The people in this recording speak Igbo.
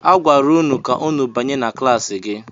A gwara ụnụ ka ụnụ banye na klaasị gị!